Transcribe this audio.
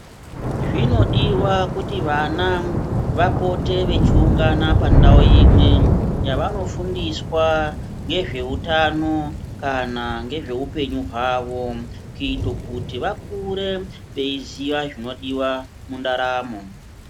Zvinodiwa kuti vana vapote vechiwungana pandawo imwe yavanofundiswa ngezvehutano, kana ngezvehupenyu hwawo, kuite kuti vakure veiziva zvinodiwa mundaramo.